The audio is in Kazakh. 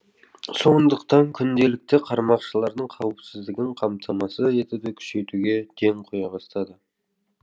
сондықтан күнделікті қармақшылардың қауіпсіздігін қамтамасыз етуді күшейтуге ден қоя бастады